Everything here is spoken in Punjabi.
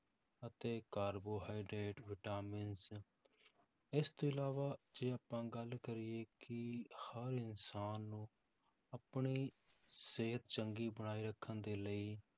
ਅਤੇ ਕਾਰਬੋਹਾਈਡ੍ਰੇਟ, ਵਿਟਾਮਿਨਸ ਇਸ ਤੋਂ ਇਲਾਵਾ ਜੇ ਆਪਾਂ ਗੱਲ ਕਰੀਏ ਕਿ ਹਰ ਇਨਸਾਨ ਨੂੰ ਆਪਣੀ ਸਿਹਤ ਚੰਗੀ ਬਣਾਈ ਰੱਖਣ ਦੇ ਲਈ